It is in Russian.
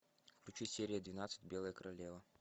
включи серия двенадцать белая королева